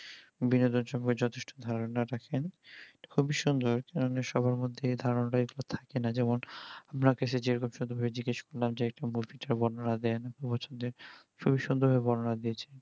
বিনোদন সম্পর্কে যথেষ্ট ধারণা রাখেন খুবই সুন্দর যেটা সব্বার মধ্যে এই ধারণা তা থাকে না যেমন অনেক যে সেই বিপ্স তার বেপারে জিজ্ঞাসা করলাম যে একটু বর্ণনা দেন খুবই সুন্দর ভাবে বর্ণনা দিয়েছিলো